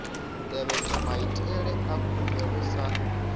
tevhedzwa maitele a khumbelo sa